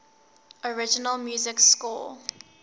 original music score